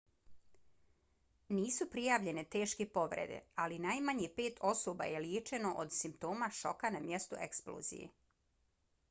nisu prijavljene teške povrede ali najmanje pet osoba je liječeno od simptoma šoka na mjestu eksplozije